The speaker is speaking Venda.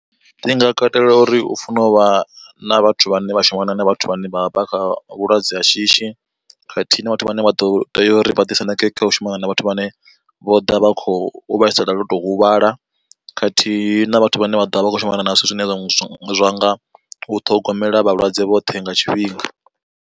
Ndi nga katela uri u funa uvha na vhathu vhane vha shumana na vhathu vhane vha vha kha vhulwadze ha shishi, khathihi na vhathu vhane vha ḓo tea uri vha ḓi sendeke kha u shumana na vhathu vhane vho ḓa vha khou vhaisala loto huvhala, khathihi na vhathu vhane vha ḓovha vha kho shumana na zwithu zwine zwa nga u ṱhogomela vhalwadze vhoṱhe nga tshifhinga.